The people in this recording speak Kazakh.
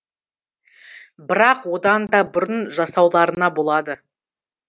бірақ одан да бұрын жасауларына болады